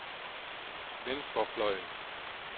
venstrefløjen